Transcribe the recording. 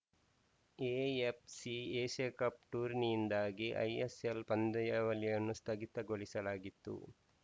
AFC Asia Cup ಟೂರ್ನಿಯಿಂದಾಗಿ ISL ಪಂದ್ಯಾವಳಿಯನ್ನು ಸ್ಥಗಿತಗೊಳಿಸಲಾಗಿತ್ತು